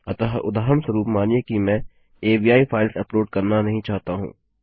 अतः अदाहरणस्वरूप मानिए कि मैं अवि फाइल्स अपलोड करना नहीं चाहता हूँ